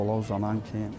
Palan uzanan kim?